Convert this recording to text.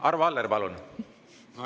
Arvo Aller, palun!